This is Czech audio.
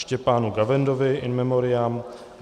Štěpánu Gavendovi in memoriam